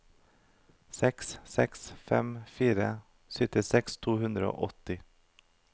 seks seks fem fire syttiseks to hundre og åtti